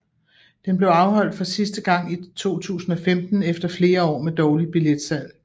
Den blev afholdt for sidste gange i 2015 efter flere år med dårligt billetslag